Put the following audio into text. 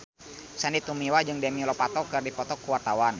Sandy Tumiwa jeung Demi Lovato keur dipoto ku wartawan